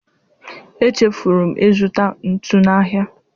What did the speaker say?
Echefuru m ịzụta ntu n'ahịa.